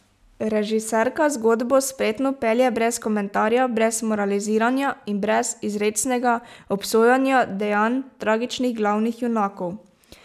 Režiserka zgodbo spretno pelje brez komentarja, brez moraliziranja in brez izrecnega obsojanja dejanj tragičnih glavnih junakov.